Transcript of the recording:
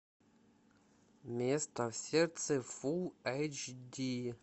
место в сердце фулл эйч ди